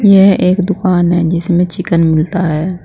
यह एक दुकान है जिसमे चिकन मिलता है।